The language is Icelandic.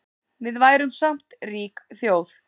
Við værum samt rík þjóð